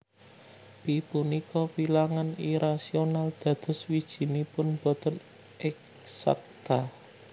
Pi punika wilangan irasional dados wijinipun boten eksakta